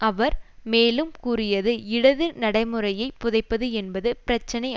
அவர் மேலும் கூறியது இடது நடைமுறையை புதைப்பது என்பது பிரச்சினை